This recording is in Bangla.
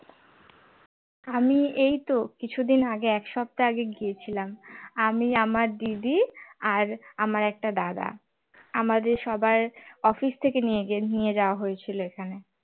আমি এই তো কিছুদিন আগে এক সপ্তাহ আগে গিয়েছিলাম আমি আমার দিদি আর আমার একটা দাদা আমাদের সবার office থেকে নিয়ে নিয়ে যাওয়া হয়েছিল এখানে